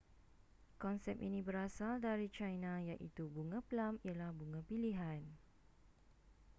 konsep ini berasal dari china iaitu bunga plum ialah bunga pilihan